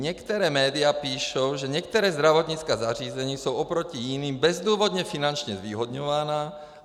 Některá média píšou, že některá zdravotnická zařízení jsou oproti jiným bezdůvodně finančně zvýhodňována.